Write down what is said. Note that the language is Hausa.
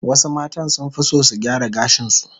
Wasu matan sunfi son su gyara gashin su